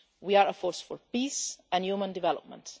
We are a force for peace and human development.